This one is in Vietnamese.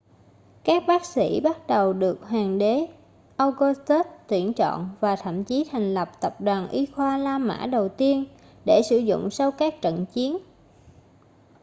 các bác sĩ bắt đầu được hoàng đế augustus tuyển chọn và thậm chí thành lập tập đoàn y khoa la mã đầu tiên để sử dụng sau các trận chiến